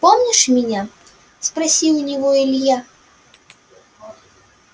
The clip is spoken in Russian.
помнишь меня спросил у него илья